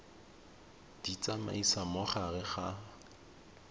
di tsamaisa mo gare ga